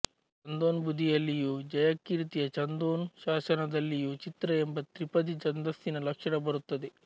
ಛಂದೋಂಬುಧಿಯಲ್ಲಿಯೂ ಜಯಕೀರ್ತಿಯ ಛಂದೋನು ಶಾಸನದಲ್ಲಿಯೂ ಚಿತ್ರ ಎಂಬ ತ್ರಿಪದಿ ಛಂದಸ್ಸಿನ ಲಕ್ಷಣ ಬರುತ್ತದೆ